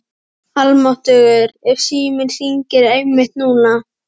Almáttugur ef síminn hringdi einmitt núna.